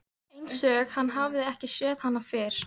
Einsog hann hafi ekki séð hana fyrr.